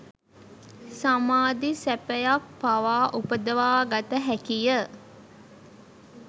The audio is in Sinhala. සමාධි සැපයක් පවා උපදවා ගත හැකිය